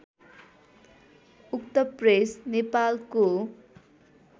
उक्त प्रेस नेपालको